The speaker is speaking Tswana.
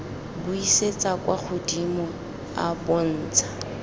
buisetsa kwa godimo a bontsha